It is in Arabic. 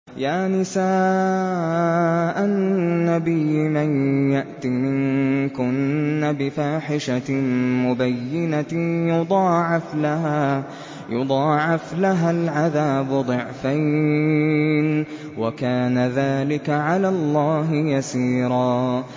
يَا نِسَاءَ النَّبِيِّ مَن يَأْتِ مِنكُنَّ بِفَاحِشَةٍ مُّبَيِّنَةٍ يُضَاعَفْ لَهَا الْعَذَابُ ضِعْفَيْنِ ۚ وَكَانَ ذَٰلِكَ عَلَى اللَّهِ يَسِيرًا